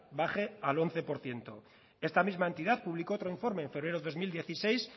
baje al once por ciento esta misma entidad publicó otro informe febrero dos mil dieciséis